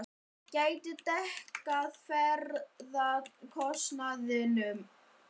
Gæti dekkað ferðakostnaðinn.